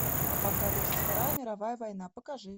апокалипсис вторая мировая война покажи